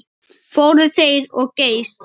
Fóru þeir of geyst?